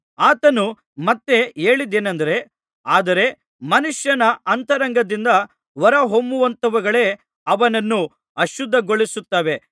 ಆತನು ಮತ್ತೆ ಹೇಳಿದ್ದೇನೆಂದರೆ ಆದರೆ ಮನುಷ್ಯನ ಅಂತರಂಗದಿಂದ ಹೊರಹೊಮ್ಮುವಂಥವುಗಳೇ ಅವನನ್ನು ಅಶುದ್ಧಗೊಳಿಸುತ್ತವೆ